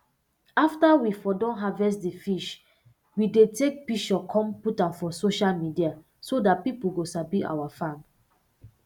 after we um don harvest d fish we dey take pishure come put am for sosah media so dat pipo go sabi our farm